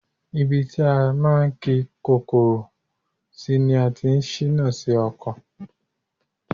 Ibi tí a máa ń ki Kọ́kọ́rọ́ sí ni a ti ń síná sí ọkọ̀.